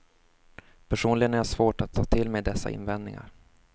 Personligen har jag svårt att ta till mig dessa invändningar.